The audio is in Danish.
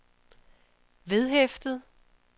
vedhæftet